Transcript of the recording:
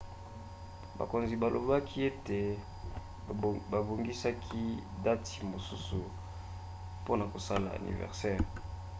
bakonzi balobaki ete babongisaki dati mosusu mpona kosala aniversere